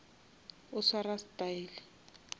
o swara style